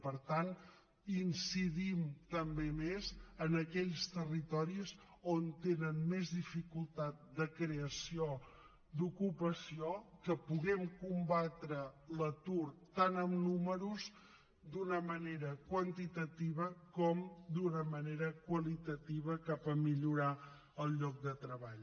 per tant incidim també més en aquells territoris on tenen més dificultat de creació d’ocupació que puguem combatre l’atur tant amb números d’una manera quantitativa com d’una manera qualitativa cap a millorar el lloc de treball